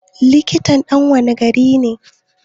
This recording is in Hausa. Likitan ɗan wanne gari ne?